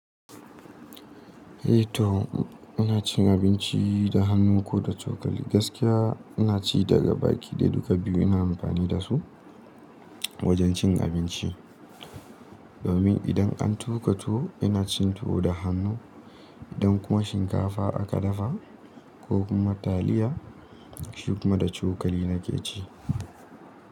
Eh to ina cin abinci da hannu ko da cokali. Gaskiya ina ci daga baki dai, duka biyu ina amfani da su wajen cin abinci. Domin idan an tuƙa tuwo ina cin tuwo da hannu, idan kuma shinkafa aka dafa ko kuma taliya, shi kuma da cokali nake ci.